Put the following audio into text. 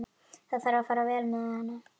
Það þarf að fara vel með hana.